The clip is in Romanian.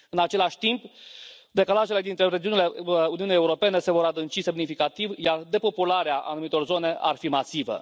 În același timp, decalajele dintre regiunile Uniunii Europene se vor adânci semnificativ, iar depopularea anumitor zone ar fi masivă.